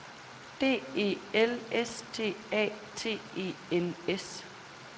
D E L S T A T E N S